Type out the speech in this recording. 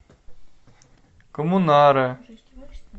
коммунаре